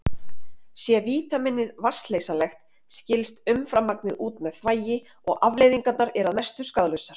Sé vítamínið vatnsleysanlegt skilst umframmagnið út með þvagi og afleiðingarnar eru að mestu skaðlausar.